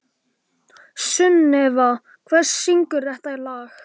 Sunneva, hver syngur þetta lag?